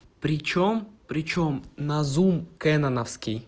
причём причём на зум кэнавовский